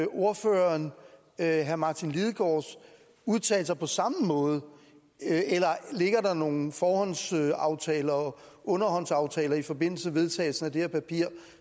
ordføreren herre martin lidegaards udtalelser på samme måde eller ligger der nogen forhåndsaftaler og underhåndsaftaler i forbindelse med vedtagelsen af det her papir